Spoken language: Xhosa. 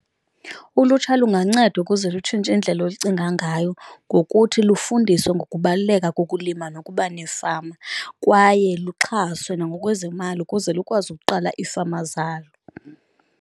Ulutsha lunganceda ukuze lutshintshe indlela olucinga ngayo ngokuthi lufundiswe ngokubaluleka kokulima nokuba nefama, kwaye luxhaswe nangokwezemali ukuze lukwazi ukuqala iifama zalo.